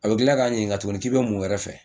A bɛ tila ka n ɲininka tuguni k'i bɛ mun wɛrɛ fɛ